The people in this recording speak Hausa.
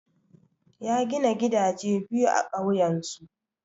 Ya gina gidaje biyu a ƙauyensu.